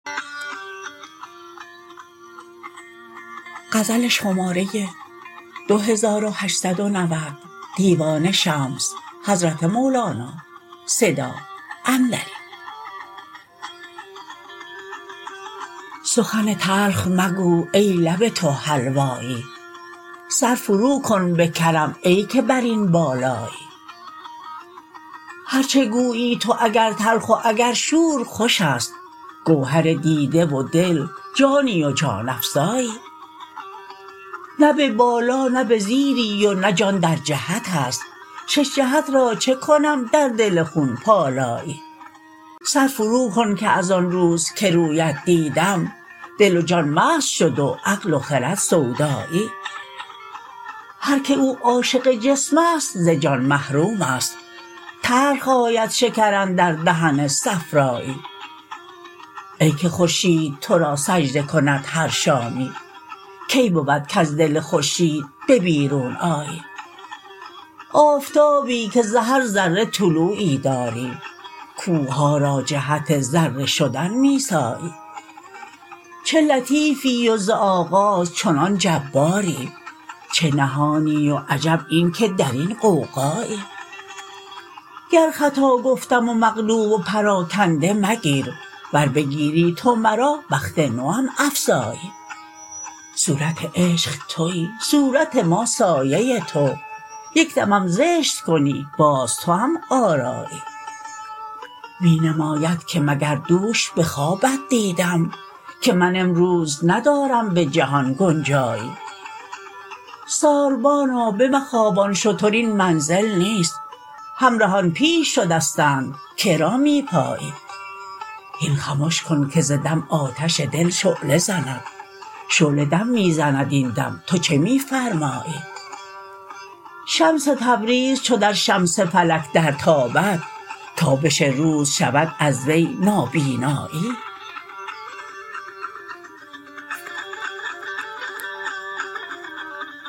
سخن تلخ مگو ای لب تو حلوایی سر فروکن به کرم ای که بر این بالایی هر چه گویی تو اگر تلخ و اگر شور خوش است گوهر دیده و دل جانی و جان افزایی نه به بالا نه به زیری و نه جان در جهت است شش جهت را چه کنم در دل خون پالایی سر فروکن که از آن روز که رویت دیدم دل و جان مست شد و عقل و خرد سودایی هر کی او عاشق جسم است ز جان محروم است تلخ آید شکر اندر دهن صفرایی ای که خورشید تو را سجده کند هر شامی کی بود کز دل خورشید به بیرون آیی آفتابی که ز هر ذره طلوعی داری کوه ها را جهت ذره شدن می سایی چه لطیفی و ز آغاز چنان جباری چه نهانی و عجب این که در این غوغایی گر خطا گفتم و مقلوب و پراکنده مگیر ور بگیری تو مرا بخت نوم افزایی صورت عشق توی صورت ما سایه تو یک دمم زشت کنی باز توام آرایی می نماید که مگر دوش به خوابت دیدم که من امروز ندارم به جهان گنجایی ساربانا بمخوابان شتر این منزل نیست همرهان پیش شدستند که را می پایی هین خمش کن که ز دم آتش دل شعله زند شعله دم می زند این دم تو چه می فرمایی شمس تبریز چو در شمس فلک درتابد تابش روز شود از وی نابینایی